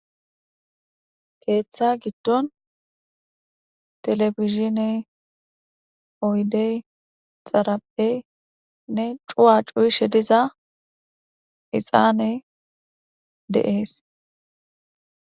Keeththa giidon telebijiney oyidey xariphey nee cuya cuyishe diza hixaney de'es.